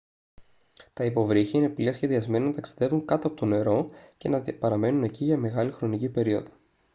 τα υποβρύχια είναι πλοία σχεδιασμένα να ταξιδεύουν κάτω από το νερό και να παραμένουν εκεί για μεγάλη χρονική περίοδο